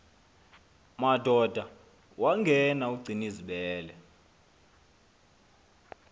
madoda wangena ugcinizibele